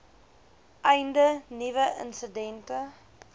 einde nuwe insidente